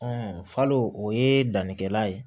falo o ye dannikɛla ye